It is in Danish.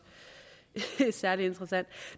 særlig interessant